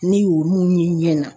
Ne y'olu ye n ɲɛna.